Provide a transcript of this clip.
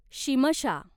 Shimsha